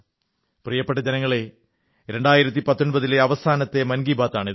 പ്രിയപ്പെട്ട ജനങ്ങളേ 2019 ലെ അവസാനത്തെ മൻ കീ ബാത് ആണ് ഇത്